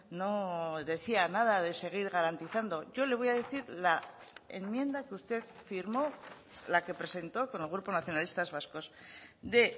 no decía nada de seguir garantizando yo le voy a decir la enmienda que usted firmó la que presentó con el grupo nacionalistas vascos de